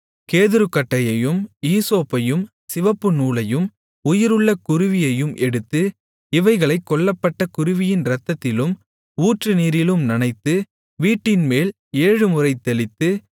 கேதுருக்கட்டையையும் ஈசோப்பையும் சிவப்புநூலையும் உயிருள்ள குருவியையும் எடுத்து இவைகளைக் கொல்லப்பட்ட குருவியின் இரத்தத்திலும் ஊற்று நீரிலும் நனைத்து வீட்டின்மேல் ஏழுமுறை தெளித்து